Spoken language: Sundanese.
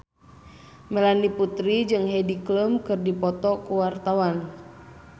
Melanie Putri jeung Heidi Klum keur dipoto ku wartawan